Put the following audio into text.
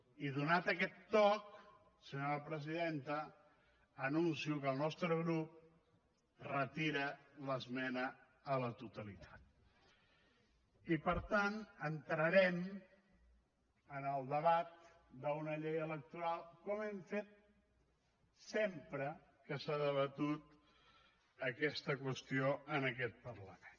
i donat aquest toc senyora presidenta anuncio que el nostre grup retira l’esmena a la totalitat i per tant entrarem en el debat d’una llei electoral com hem fet sempre que s’ha debatut aquesta qüestió en aquest parlament